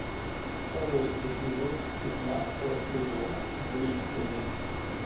второй эпизод пятнадцатого сезона гриффины